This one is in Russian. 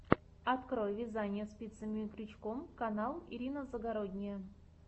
открой вязание спицами и крючком канал ирина загородния